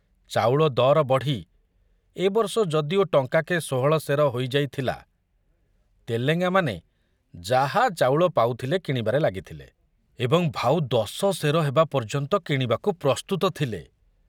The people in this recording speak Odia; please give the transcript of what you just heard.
ଚାଉଳ ଦର ବଢ଼ି ଏ ବର୍ଷ ଯଦିଓ ଟଙ୍କାକେ ଷୋହଳ ସେର ହୋଇ ଯାଇଥିଲା, ତେଲେଙ୍ଗାମାନେ ଯାହା ଚାଉଳ ପାଉଥିଲେ କିଣିବାରେ ଲାଗିଥିଲେ ଏବଂ ଭାଉ ଦଶ ସେର ହେବା ପର୍ଯ୍ୟନ୍ତ କିଣିବାକୁ ପ୍ରସ୍ତୁତ ଥିଲେ।